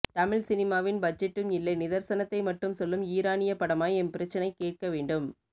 தமிழ்சினிமாவின் பட்ஜெட்டும் இல்லை நிதர்சனத்தை மட்டும் சொல்லும் ஈரானியப் படமாய் எம்பிரச்சனை கேட்க வேண்டும்